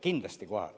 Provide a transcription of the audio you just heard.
Kindlasti kohe.